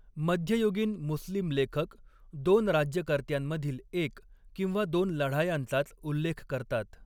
मध्ययुगीन मुस्लिम लेखक दोन राज्यकर्त्यांमधील एक किंवा दोन लढायांचाच उल्लेख करतात.